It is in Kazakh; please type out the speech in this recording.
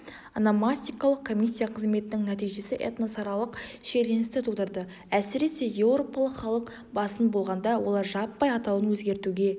ономастикалық комиссия қызметінің нәтижесі этносаралық шиеленісті тудырды әсіресе еуропалық халық басым болғанда олар жаппай атауын өзгертуге